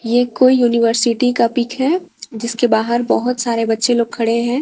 ये कोई यूनिवर्सिटी का पिक है जिसके बाहर बहोत सारे बच्चे लोग खड़े हैं।